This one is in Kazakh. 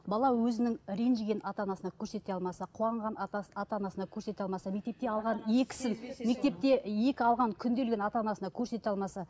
бала өзінің ренжігенін ата анасына көрсете алмаса қуанғанын ата анасына көрсете алмаса мектепте алған екісін мектепте екі алған күнделігін ата анасына көрсете алмаса